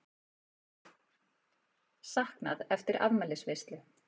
Saknað eftir afmælisveislu